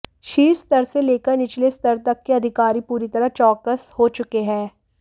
शीर्ष स्तर से लेकर निचले स्तर तक के अधिकारी पूरी तरह चौकस हो चुके हैं